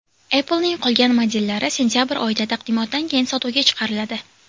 Apple’ning qolgan modellari sentabr oyida, taqdimotdan keyin sotuvga chiqariladi.